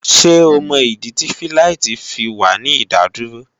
Ṣé o mọ̀ ìdí tí fíláìtí fi wà ní ìdádúró?